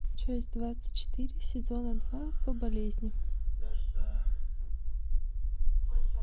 часть двадцать четыре сезона два по болезни